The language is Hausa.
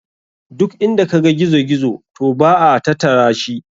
Duk inda kaga gizo gizo to ba a tatarashi.